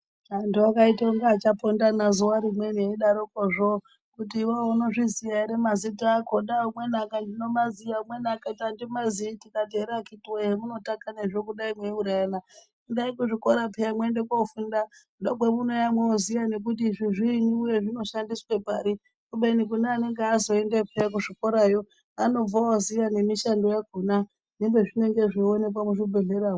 Antu akaite kunge achapondana zuwa rimweni eidarokozvo kuti iwewe unozviziya ere mazita akona, umweni akati ndinomaziya, umweni akati andimaziyi tikati here akiti woye hemutakanazvo kudai mweiurayana endai kuzvikora puya mwoende kofunda ndokwemunouya moziya nekuti izvi zviinyiwe zvinoshandiswe pari kubeni kune anenge azoendeyo puya kuzvikorayo anobva oziya nemishando yakona nepezvinenge zveionekwa muzvibhehlera.